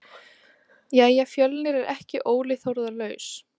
Jæja Fjölnir er ekki Óli Þórðar laus?